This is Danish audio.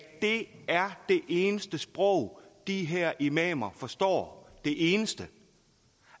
det er det eneste sprog de her imamer forstår det eneste